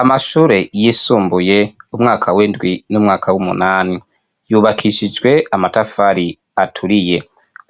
Amashure yisumbuye, umwaka w'indwi n'umwaka w'umunani, yubakishijwe amatafari aturiye.